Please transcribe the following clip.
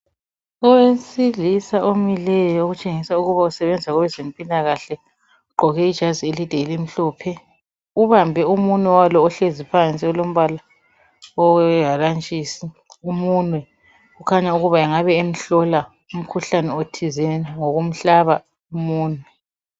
Owesilisa omileyo otshengisa ukuba usebenza kwabezempilakahle ugqoke iijazi elide elimhlophe ubambe umunwe walo ohlezi phansi owehalantshisi umunwe ukhanya ukuba engabe emhlola umkhuhlane othize ngokumhlaba umunwe